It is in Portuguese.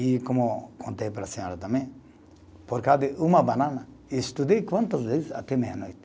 E como contei para a senhora também, por causa de uma banana, estudei quantas vezes até meia-noite.